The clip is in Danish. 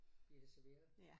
Bliver det serveret